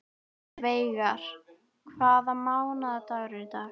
Veigar, hvaða mánaðardagur er í dag?